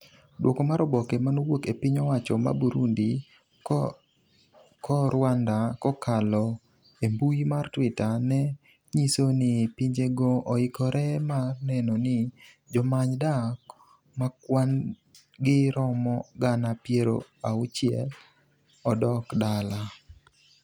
duoko mar oboke manowuok e piny-owacho ma Burundi ko Rwanda kokalo e mbui mar twitter ne nyiso ni pinjego oikore mar neno ni jomany dak makwan gi romo gana piero auchiel odok dala